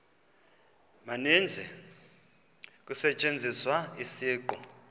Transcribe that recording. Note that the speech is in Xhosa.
maninzi kusetyenziswa isiqu